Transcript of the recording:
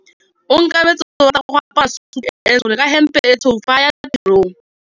Onkabetse o rata go apara sutu e ntsho ka hempe e tshweu fa a ya tirong.